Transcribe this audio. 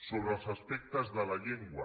sobre els aspectes de la llengua